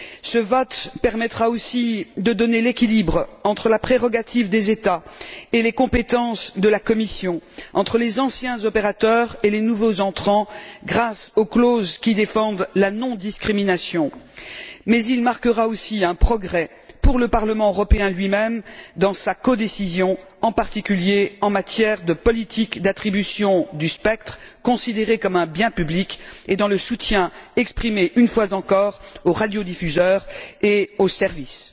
Ce vote permettra aussi d'assurer l'équilibre entre la prérogative des États et les compétences de la Commission, entre les anciens opérateurs et les nouveaux entrants, grâce aux clauses qui défendent la non discrimination, mais il marquera aussi un progrès pour le Parlement européen lui même dans l'exercice de son pouvoir de codécision, en particulier en matière de politique d'attribution du spectre, considéré comme un bien public, et dans le soutien qu'il exprime, une fois encore, aux radiodiffuseurs et aux services.